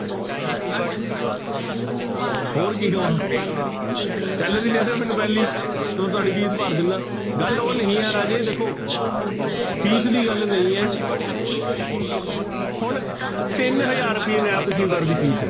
ਹੋਰ ਕੀ ਕਵਾਂ salary ਦੇ ਦਿਓ ਮੈਨੂੰ ਪਹਿਲੀ, ਤੇ ਤੁਹਾਡੀ ਫੀਸ ਭਰ ਦਿਨਾ, ਗੱਲ ਉਹ ਨਹੀਂ ਹੈ ਰਾਜੇ ਦੇਖੋ ਫੀਸ ਦੀ ਗੱਲ ਨਹੀਂ ਹੈ ਹੁਣ ਤਿੰਨ ਹਜ਼ਾਰ ਰੁਪਈਏ ਨੈਬ ਤਹਿਸੀਲਦਾਰ ਦੀ ਫੀਸ ਹੈ।